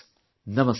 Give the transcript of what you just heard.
Namaskar